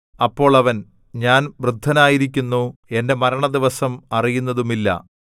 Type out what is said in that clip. അപ്പോൾ അവൻ ഞാൻ വൃദ്ധനായിരിക്കുന്നു എന്റെ മരണദിവസം അറിയുന്നതുമില്ല